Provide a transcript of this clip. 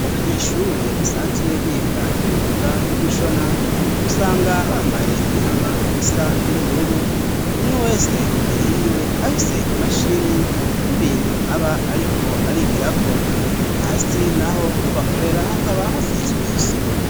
Abo banyeshure basanzwe biga imyunga yo gushona, usanga bambaye imyambaro isa n'ubururu, umwe wese imbere yiwe afise imashini n'ibintu aba ariko arigirako, hasi naho aho bakorera hakaba hasizwe isima.